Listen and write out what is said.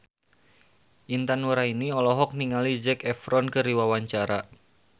Intan Nuraini olohok ningali Zac Efron keur diwawancara